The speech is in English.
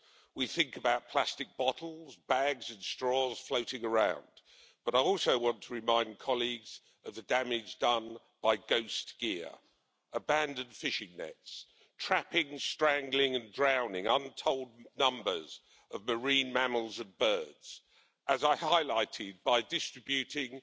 We think about plastic bottles, bags and straws floating around, but I also want to remind colleagues of the damage done by ghost gear abandoned fishing nets trapping, strangling and drowning untold numbers of marine mammals and birds, as I highlighted by distributing